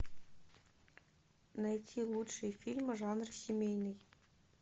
найти лучшие фильмы жанр семейный